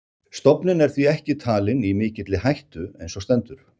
Stofninn er því ekki talinn í mikilli hættu eins og stendur.